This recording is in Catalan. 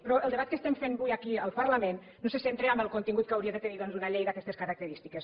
però el debat que estem fent avui aquí al parlament no se centra en el contingut que hauria de tenir doncs una llei d’aquestes característiques